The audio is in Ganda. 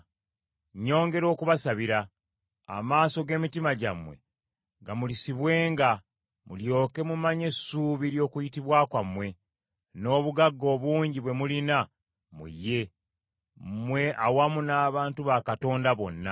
Nnyongera okubasabira, amaaso g’emitima gyammwe gamulisibwenga, mulyoke mumanye essuubi ly’okuyitibwa kwammwe, n’obugagga obungi bwe mulina mu ye, mmwe awamu n’abantu ba Katonda bonna.